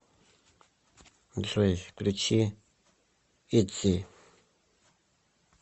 джой включи итзи